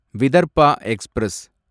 Vidarbha express